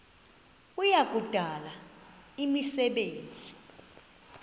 kuya kudala imisebenzi